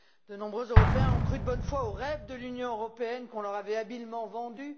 De nombreux Européens ont cru de bonne foi au rêve de l'Union européenne qu'on leur avait habilement vendu.